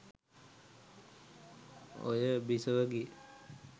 ඔය බිසවගේ